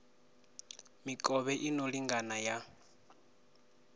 mikovhe i no lingana ya